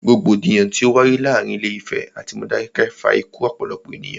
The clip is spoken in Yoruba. Rògbòdìyàn tí o wáyé láàárín Ilé Ìfẹ̀ atí Modákẹ́kẹ́ fa ikú ọ̀pọ̀lọpọ̀ ènìyàn.